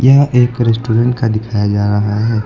यह एक रेस्टोरेंट का दिखाया जा रहा है।